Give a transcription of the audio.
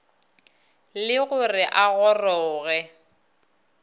le go re a goroge